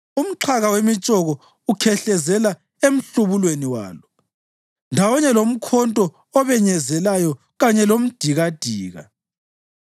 Umxhaka wemitshoko ukhehlezela emhlubulweni walo, ndawonye lomkhonto obenyezelayo kanye lomdikadika.